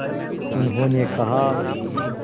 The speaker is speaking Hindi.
उन्होंने कहा